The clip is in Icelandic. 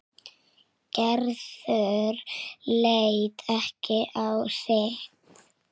Gerður leit ekki á sitt.